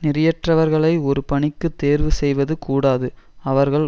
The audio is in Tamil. நெறியற்றவர்களை ஒரு பணிக்கு தேர்வு செய்வது கூடாது அவர்கள்